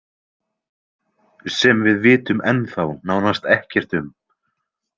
Sem við vitum ennþá nánast ekkert um.